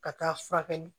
Ka taa furakɛli